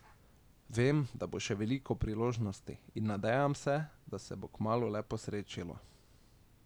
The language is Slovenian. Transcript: Vem, da bo še veliko priložnosti, in nadejam se, da se bo kmalu le posrečilo.